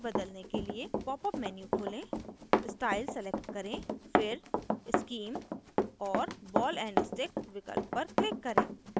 popअप menu खोलें style select करें फिर scheme और ball and stick विकल्प पर click करें